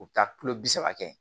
U bɛ taa kulo bi saba kɛ